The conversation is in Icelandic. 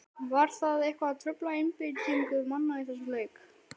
Var það eitthvað að trufla einbeitingu manna í þessum leik?